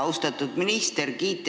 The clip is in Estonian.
Austatud minister!